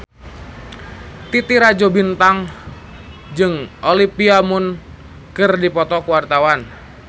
Titi Rajo Bintang jeung Olivia Munn keur dipoto ku wartawan